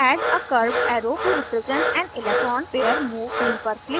add a curved arrow to represent an electron pair move tool पर click करें